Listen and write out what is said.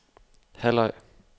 halvleg